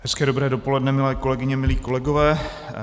Hezké dobré dopoledne, milé kolegyně, milí kolegové.